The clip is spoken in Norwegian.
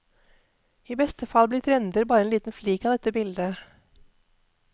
I beste fall blir trender bare en liten flik av dette bildet.